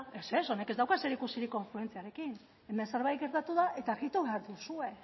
ez ez honek ez dauka zerikusirik konfluentziarekin hemen zerbait gertatu da eta behar duzue